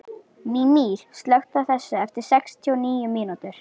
Mímir, slökktu á þessu eftir sextíu og níu mínútur.